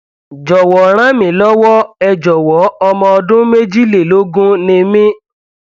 jọwọ ràn mí lọwọ ẹ jọwọ ọmọ ọdún méjìlélógún ni mí